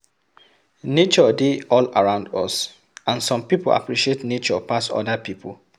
Nature dey all around us and some pipo appreciate nature pass oda pipo